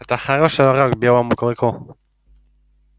это хороший урок белому клыку